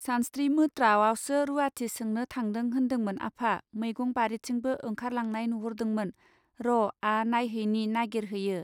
सानस्त्रि मोत्रावासो रूवाथि सोंनो थांनो होन्दोंमोन आफा मैगं बारिथिंबो ओंखार लांनाय नुहरदोंमोन र आ नायहैनि नागिर हैयो.